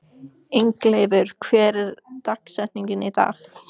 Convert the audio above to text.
Ingileifur, hver er dagsetningin í dag?